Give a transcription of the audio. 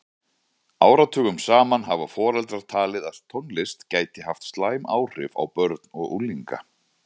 Áratugum saman hafa foreldrar talið að tónlist gæti haft slæm áhrif á börn og unglinga.